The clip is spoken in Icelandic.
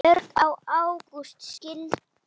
Björg og Ágúst skildu.